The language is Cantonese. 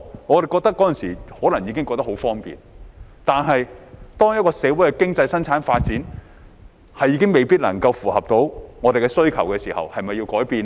我們那時可能已覺得很方便，但當一個社會的經濟生產發展未必能夠符合到我們的需求時，是否要改變呢？